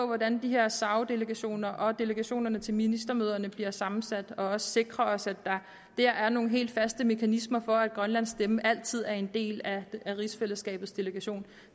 hvordan de her sao delegationer og delegationerne til ministermøderne bliver sammensat og også have sikret os at der dér er nogle helt faste mekanismer for at grønlands stemme altid er en del af rigsfællesskabets delegation